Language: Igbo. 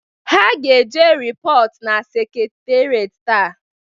Ha ga-eje repot na sektereti taa